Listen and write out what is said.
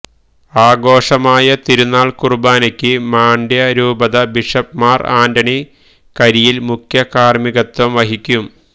ആഘോഷമായ തിരുനാൾ കുർബാനക്ക് മാണ്ഡ്യ രൂപത ബിഷപ് മാർ ആന്റണി കരിയിൽ മുഖ്യകാർമികത്വം വഹിക്കും